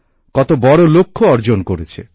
কত বড় লক্ষ্য অর্জন করেছে